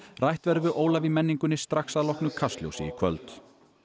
rætt verður við Ólaf í menningunni strax að loknu Kastljósi í kvöld